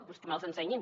doncs que me’ls ensenyin